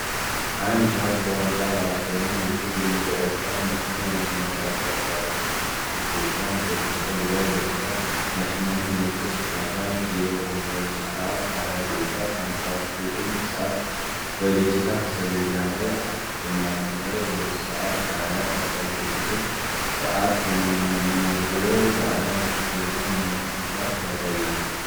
አንዲት ሯጭ በዋንጫ ማራቶን ውድድር የመጨረሻውን መስመር በመጀመሪያ እያቋረጠች ነው። እጆቿን በደስታ ወደ ላይ ዘርግታ የአሸናፊነት ምልክት ስታሳይ የ2:20:59 ሰዓት በዲጂታል ሰሌዳ ላይ አለ። በማራቶን ላይ 2፡20፡59 ሰዓት መመዝገብ በአለም አቀፍ ደረጃ ምን ዓይነት ብቃት ያሳያል?